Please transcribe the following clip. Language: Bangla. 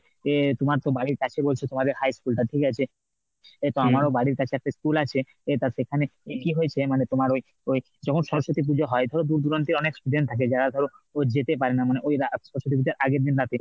এ তোমার তো বাড়ির কাছেই বলছো তোমার high school টা ঠিক আছে? তো আমারও বাড়ির কাছে একটা school আছে এ তা সেখানে কি হয়েছে মানে তোমার ওই ওই যখন সরস্বতী পুজো হয় ধরো দূর দূরান্তের অনেক student থাকে যারা ধরো যেতে পারে না মানে ওই রাত সরস্বতী পুজোর আগের দিন রাতে